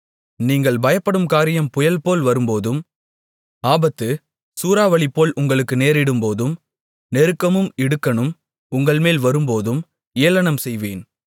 நீங்கள் பயப்படும் காரியம் புயல்போல் வரும்போதும் ஆபத்து சூறாவளிபோல் உங்களுக்கு நேரிடும்போதும் நெருக்கமும் இடுக்கணும் உங்கள்மேல் வரும்போதும் ஏளனம்செய்வேன்